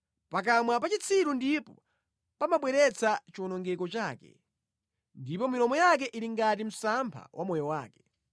Pakamwa pa chitsiru ndipo pamabweretsa chiwonongeko chake, ndipo milomo yake ili ngati msampha wa moyo wake.